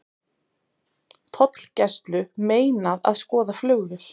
Tollgæslu meinað að skoða flugvél